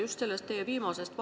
Lugupeetud minister!